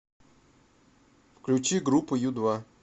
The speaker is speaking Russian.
включи группу ю два